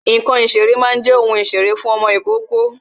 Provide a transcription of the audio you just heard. Ǹkan ìṣeré máa jẹ́ ohun ìṣeré fún ọmọ ìkókó